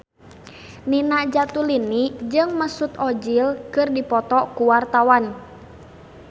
Nina Zatulini jeung Mesut Ozil keur dipoto ku wartawan